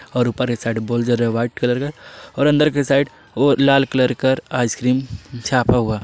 और ऊपर के साइड बल्ब जल रहा वाइट कलर का और अंदर के साइड ओ लाल कलर का आइसक्रीम छापा हुआ।